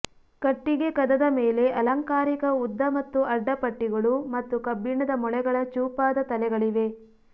ಕಟ್ಟಿಗೆ ಕದದ ಮೇಲೆ ಅಲಂಕಾರಿಕ ಉದ್ದ ಮತ್ತು ಅಡ್ಡ ಪಟ್ಟಿಗಳು ಮತ್ತು ಕಬ್ಬಿಣದ ಮೊಳೆಗಳ ಚೂಪಾದ ತಲೆಗಳಿವೆ